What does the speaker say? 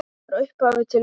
Frá upphafi til enda.